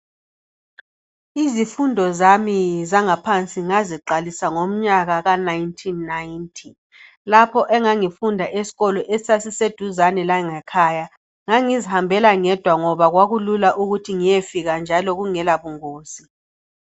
Izifundo zami zangaphansi ngaziqalisa ngomnyaka ka1990 lapho engangi funda esikolo esasise duzane langekhaya. Ngangizihambela ngedwa ngoba kwakulula ukuthi ngiyefika njalo kungela bungozi.